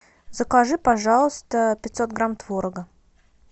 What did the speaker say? закажи пожалуйста пятьсот грамм творога